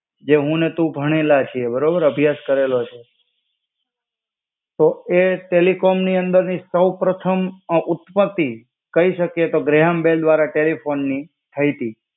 જે હું ને તું ભણેલા છીએ. બરાબર અભ્યાસ કરેલો છે. તો એ ટેલિકોમની અંદરની સૌપ્રથમ આ ઉત્પત્તિ કઈ શકે તો ગ્રેહામ બેલ દ્વારા ટેલિફોની થઇ તી